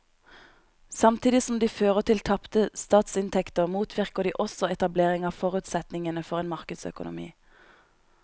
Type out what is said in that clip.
Samtidig som de fører til tapte statsinntekter motvirker de også etablering av forutsetningene for en markedsøkonomi.